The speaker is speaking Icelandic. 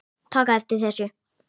taka eftir þessu